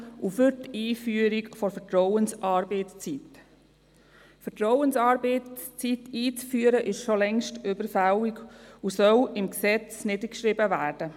Es ist schon längst überfällig, die Vertrauensarbeitszeit einzuführen, und diese soll im Gesetz festgeschrieben werden.